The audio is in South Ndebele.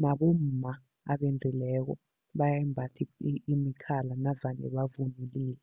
nabomma abendileko bayayimbatha imikhala navane bavunulile.